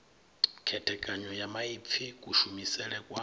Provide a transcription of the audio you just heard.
khethekanyo ya maipfi kushumisele kwa